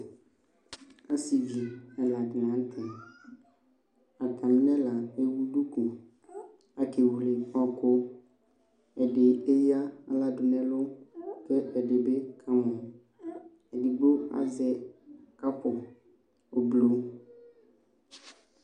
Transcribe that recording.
Asɩvi ɛla dɩnɩ la nʋ tɛ Atamɩ nʋ ɛla ewu duku Akewele ɔɣɔkʋ Ɛdɩ eyǝ aɣla dʋ nʋ ɛlʋ kʋ ɛdɩ bɩ kamɔ Edigbo azɛ kapʋ oblo